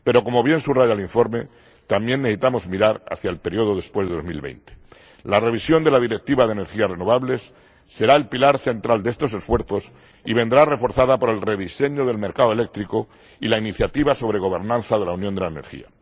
Pero, como bien subraya el informe, también necesitamos mirar hacia el periodo posterior a 2020. La revisión de la Directiva de energías renovables será el pilar central de estos esfuerzos y vendrá reforzada por el rediseño del mercado eléctrico y la iniciativa sobre gobernanza de la Unión de la Energía.